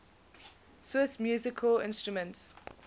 swiss musical instruments